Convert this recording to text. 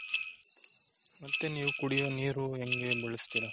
ಮತ್ತೆ ನೀವು ಕುಡಿಯೋ ನೀರು ಹೆಂಗೆ ಬಳಸ್ತೀರಾ?